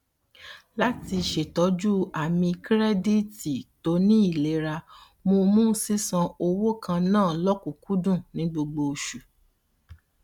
láti ṣètọju àmì kirẹditi tó ní ilera mo mú sísan owó kan naa lókùnkúndùn ní gbogbo oṣù